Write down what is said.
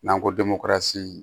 N'an ko